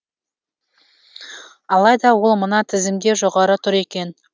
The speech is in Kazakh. алайда ол мына тізімде жоғары тұр екен